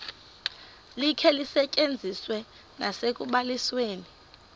likhe lisetyenziswe nasekubalisweni